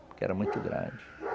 Porque era muito grande.